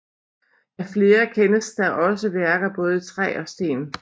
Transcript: Af flere kendes der også værker både i træ og sten